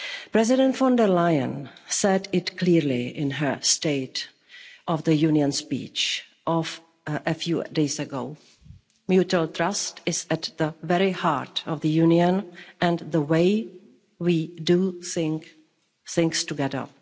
President von der Leyen said it clearly in her State of the Union speech of a few days ago. Mutual trust is at the very heart of the Union and the way we do things together.